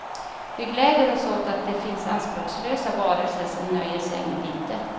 Vi gläder oss åt att det finns anspråkslösa varelser som nöjer sig med litet.